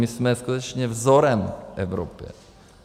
My jsme skutečně vzorem v Evropě.